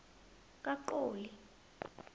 kaqoli